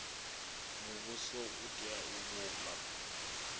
muvhuso u tea u vhumba